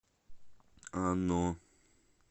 оно